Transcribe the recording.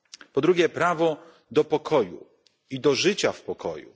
Po drugie, prawo do pokoju i do życia w pokoju.